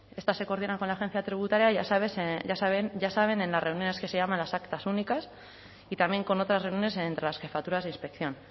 estas se coordinan con la agencia tributaria ya saben en las reuniones que se llaman las actas únicas y también con otras reuniones entre las jefaturas de inspección